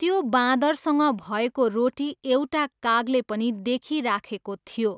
त्यो बादँरसँग भएको रोटी एउटा कागले पनि देखिराखेको थियो।